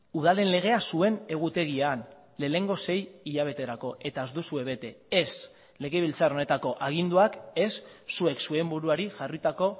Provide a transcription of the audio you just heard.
udalen legea zuen egutegian lehenengo sei hilabeterako eta ez duzue bete ez legebiltzar honetako aginduak ez zuek zuen buruari jarritako